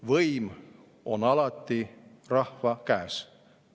Võim on alati rahva käes.